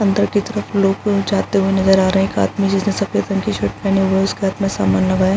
अंदर की तरफ लोगों जाते हुए नज़र आ रहें हैं एक आदमी जिसने सफ़ेद रंग की शर्ट पहनी हुई है उसके हाथ में सामान लगा है।